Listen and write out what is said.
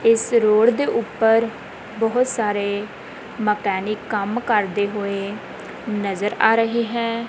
ਇਸ ਰੋਡ ਦੇ ਉੱਪਰ ਬਹੁਤ ਸਾਰੇ ਮਕੈਨਿਕ ਕੰਮ ਕਰਦੇ ਹੋਏ ਨਜ਼ਰ ਆ ਰਹੇ ਹੈਂ।